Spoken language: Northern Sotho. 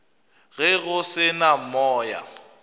ge go se na moya